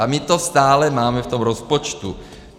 A my to stále máme v tom rozpočtu.